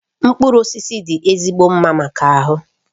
Mkpụrụ osisi dị ezigbo mma maka ahụ